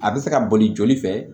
A bɛ se ka boli joli fɛ